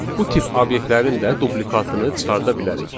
Bu tip obyektlərin də duplikatını çıxarda bilərik.